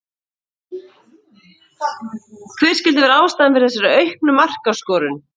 Hver skyldi vera ástæðan fyrir þessari auknu markaskorun?